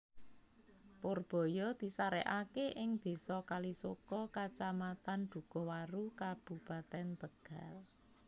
Purbaya disarekake ing désa Kalisoka Kacamatan Dhukuhwaru Kabupatèn Tegal